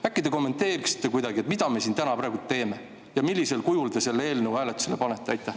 Äkki te kommenteerite kuidagi, mida me siin praegu teeme ja millisel kujul te selle eelnõu hääletusele panete?